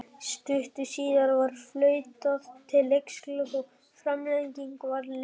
Stuttu síðar var flautað til leiksloka og framlengja varð leikinn.